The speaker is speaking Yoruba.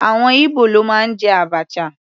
Àwọn Ibo ló máa ń jẹ abacha.